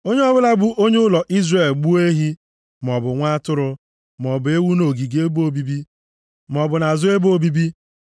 Onye ọbụla bụ onye ụlọ Izrel gbuo ehi, maọbụ nwa atụrụ, maọbụ ewu nʼogige ebe obibi, + 17:3 Ya bụ ọmụma ụlọ ikwu maọbụ nʼazụ ebe obibi,